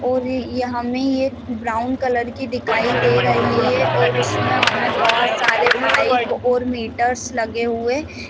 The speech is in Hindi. और यह हमें यह ब्राउन कलर की दिखाई दे रही है और इसमें हमें बहुत सारे पाइप्स और मीटर लगे हुए --.